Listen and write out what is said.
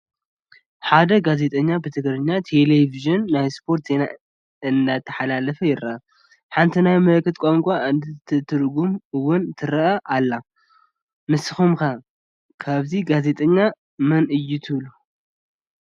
ሓደ ጋዜጠኛ ብትግራይ ቴሌቪዥን ናይ ስፓርት ዜና እንዳሕለፈ ይረአ፡፡ ሓንቲ ናይ ምልክት ቋንቋ እትተትርጉመሉ ውን ትረአ፡፡ ንስኹም ከ እዚ ጋዜጠኛ መን እዩ ትብሉ?